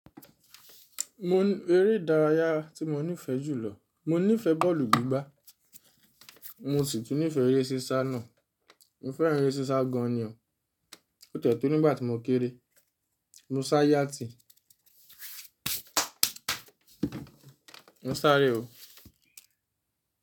Mo ń, eré ìdárayá tí mo nífẹ̀ẹ́ jùlọ, mo nífẹ̀ẹ́ bọ́ọ̀lù gbígbá. Mo sì tún nífẹ̀ẹ́ eré sísá náà. Mo fẹ́ran eré sísá gan ni o. Ó ti e to nígbà tí mo kéré. Mo ṣá yáti. Mo sáré o.